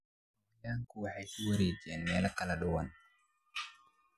Xayawaanku waxay ku wareegaan meelo kala duwan.